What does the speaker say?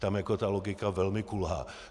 Tam jako ta logika velmi kulhá.